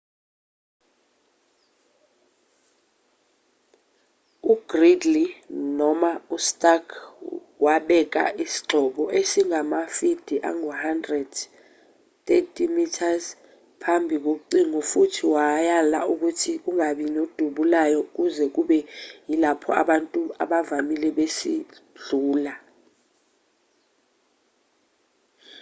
ugridley noma ustark wabeka isigxobo esingamafidi angu-100 30 m phambi kocingo futhi wayala ukuthi kungabi nodubulayo kuze kube yilapho abantu abavamile besidlula